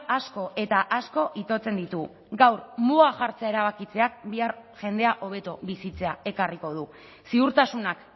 asko eta asko itotzen ditu gaur muga jartzea erabakitzeak bihar jendea hobeto bizitzea ekarriko du ziurtasunak